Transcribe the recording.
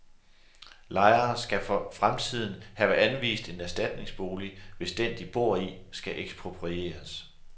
Lejere skal for fremtiden have anvist en erstatningsbolig, hvis den, de bor i, skal eksproprieres.